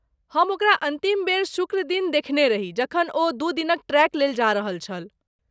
हम ओकरा अन्तिम बेर शुक्र दिन देखने रही जखन ओ दू दिनक ट्रेक लेल जा रहल छल।